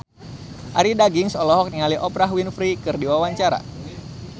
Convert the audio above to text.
Arie Daginks olohok ningali Oprah Winfrey keur diwawancara